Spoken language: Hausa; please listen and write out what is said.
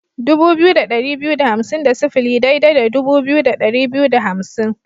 Dubu biyu da ɗari biyu da hamsin da sifili daidai da dubu biyu da ɗari biyu da hamsin.